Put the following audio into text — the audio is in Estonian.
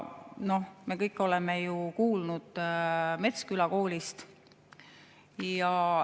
Me kõik oleme ju kuulnud Metsküla koolist.